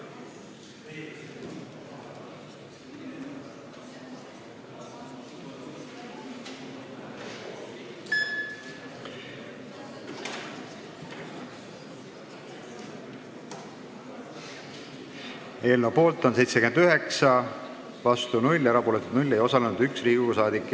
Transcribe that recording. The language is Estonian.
Hääletustulemused Eelnõu poolt on 79, vastuolijaid ega erapooletuid ei ole, ei osalenud üks Riigikogu liige.